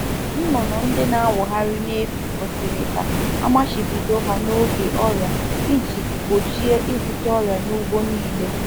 A ghaghị idobe anụ ọkụkọ na-efụ efu n'ime ụlọ um n’oge mgbasa ọrịa ọrịa iji gbochie ka ọrịa gbasa n’ụlọ ọrụ dum.